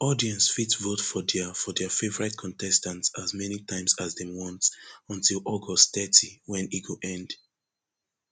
audience fit vote for dia for dia favourite contestant as many times as dem want until august thirty wen e go end